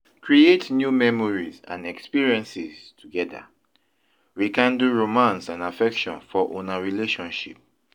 Create new memories and experiences together; rekindle romance and affection for una relationship.